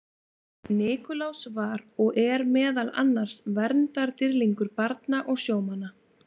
Nikulás var og er meðal annars verndardýrlingur barna og sjómanna.